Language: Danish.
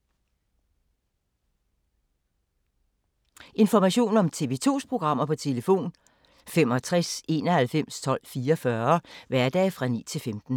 Information om TV 2's programmer: 65 91 12 44, hverdage 9-15.